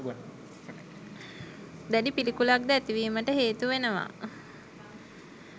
දැඩි පිළිකුලක්ද ඇතිවීමට හේතු වෙනවා.